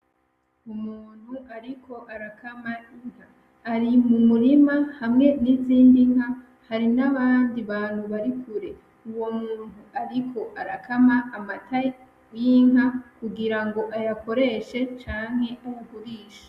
Umuntu ariko arakama inka, ari mumurimwa hamwe nizindi nka hari nabandi bantu bari kure. Uwo muntu ariko arakama amata y'inka kugira ngo ayakoreshe canke ayagurishe.